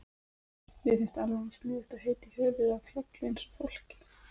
Mér finnst alveg eins sniðugt að heita í höfuðið á fjalli eins og fólki.